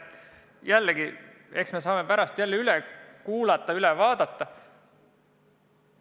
Jällegi, eks me saame räägitu pärast üle kuulata, üle vaadata.